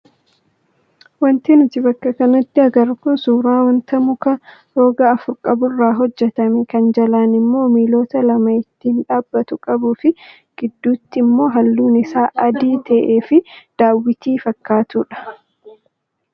Wanti nuti bakka kanatti agarru kun suuraa wanta muka roga afur qaburraa hojjatame kan jalaan immoo miilota lama ittiin dhaabbatu qabuu fi gidduutti immoo halluun isaa adii ta'ee fi daawwitii fakkaatudha.